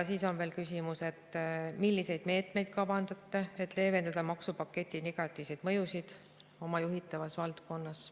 Siis on veel küsimus, milliseid meetmeid ta kavandab, et leevendada maksupaketi negatiivseid mõjusid oma juhitavas valdkonnas.